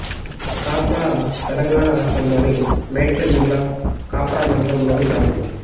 కాప్రా తెలంగాణ రాష్ట్రంలోని మేడ్చల్ జిల్లా కాప్రా మండలంలోని గ్రామం